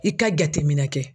I ka jateminɛ kɛ.